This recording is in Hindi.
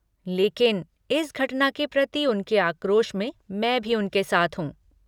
लेकिन, इस घटना के प्रति उनके आक्रोश में मैं भी उनके साथ हूँ।